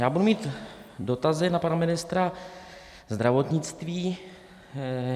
Já budu mít dotazy na pana ministra zdravotnictví.